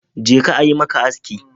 Jeka a yi maka aski.